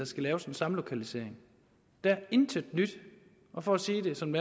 skal laves en samlokalisering der er intet nyt og for at sige det som